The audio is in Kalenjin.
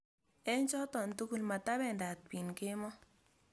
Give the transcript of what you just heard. eng choto tugul, matabendat biin kemoi